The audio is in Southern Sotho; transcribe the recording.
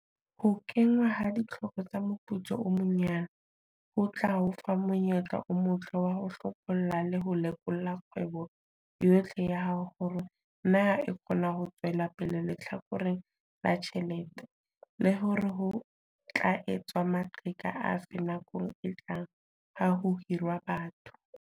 Ho kenngwa ha ditlhoko tsa moputso o monyane, minimum, ho tla o fa monyetla o motle wa ho hlopholla le ho lekola kgwebo yohle ya hao hore na e kgona ho tswela pele lehlakoreng la tjhelete, le hore ho tla etswa maqheka afe nakong e tlang ha ho hirwa batho.